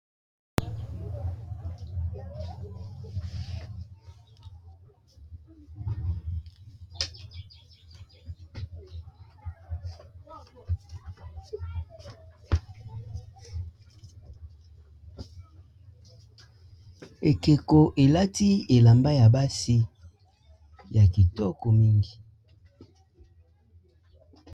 Ekeko elati elamba ya basi ya kitoko mingi.